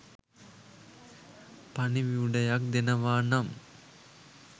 පණිවුඩයක් දෙනවා නම්